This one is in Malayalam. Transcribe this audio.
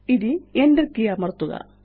ഇനി Enter കെയ് അമര്ത്തുക